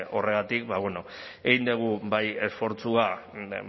horregatik egin dugu bai esfortzua